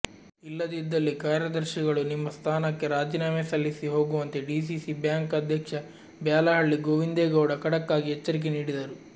ಇಲ್ಲದಿದ್ದಲ್ಲಿ ಕಾರ್ಯದರ್ಶಿಗಳು ನಿಮ್ಮ ಸ್ಥಾನಕ್ಕೆ ರಾಜೀನಾಮೆ ಸಲ್ಲಿಸಿ ಹೋಗುವಂತೆ ಡಿಸಿಸಿ ಬ್ಯಾಂಕ್ ಅಧ್ಯಕ್ಷ ಬ್ಯಾಲಹಳ್ಳಿ ಗೋವಿಂದೇಗೌಡ ಖಡಕ್ಕಾಗಿ ಎಚ್ಚರಿಕೆ ನೀಡಿದರು